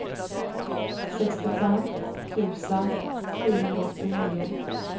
sextiofem tusen sjuhundraåttionio